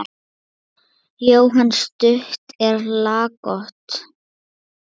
Jóhann: Stutt og laggott?